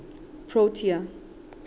protea